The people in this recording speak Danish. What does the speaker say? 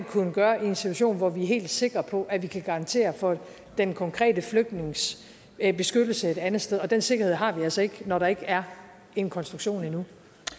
kunne gøre i en situation hvor vi er helt sikre på at vi kan garantere for den konkrete flygtnings beskyttelse et andet sted og den sikkerhed har vi altså ikke når der ikke er en konstruktion endnu